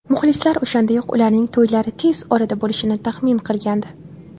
Muxlislar o‘shandayoq ularning to‘ylari tez orada bo‘lishini taxmin qilgandi.